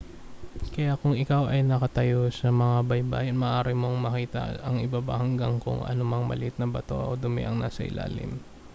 kaya kung ikaw ay nakatayo sa may baybayin maaari mong makita ang ibaba hanggang sa kung anumang maliliit na bato o dumi ang nasa ilalim